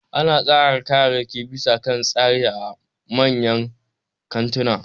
Ana tsara kayayyaki bisa kan tsari a manyan kantuna